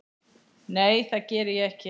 Nei, það geri ég ekki.